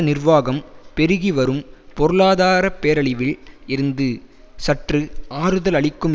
நிர்வாகம் பெருகி வரும் பொருளாதார பேரழிவில் இருந்து சற்று ஆறுதல் அளிக்கும்